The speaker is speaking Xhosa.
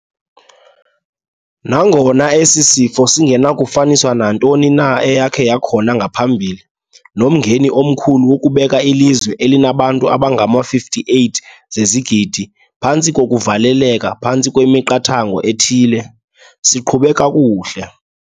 Nangona esi sifo singenakufaniswa nantoni na eyakhe yakhona ngaphambili nomngeni omkhulu wokubeka ilizwe elinabantu abangama-58 zezigidi phantsi kokuvaleleka phantsi kwemiqathango ethile, siqhube kakuhle.